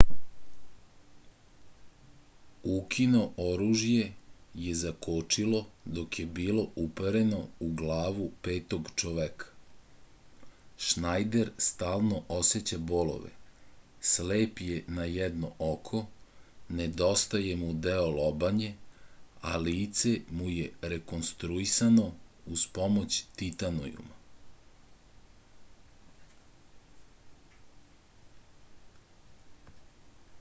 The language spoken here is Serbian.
ukino oružje je zakočilo dok je bilo upereno u glavu petog čoveka šnajder stalno oseća bolove slep je na jedno oko nedostaje mu deo lobanje a lice mu je rekonstruisano uz pomoć titanijuma